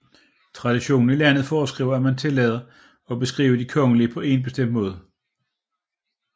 Traditionen i landet foreskriver at man tiltaler og beskriver de kongelige på en bestemt måde